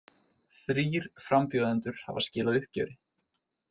Þrír frambjóðendur hafa skilað uppgjöri